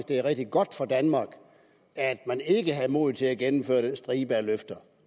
det er rigtig godt for danmark at man ikke havde modet til at gennemføre den stribe af løfter